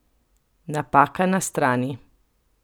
Napaka na strani!